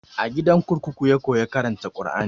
A gidan kurkuku ya koya karanta kur'ani